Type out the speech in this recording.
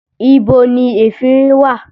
Ibo ni efinrin wà?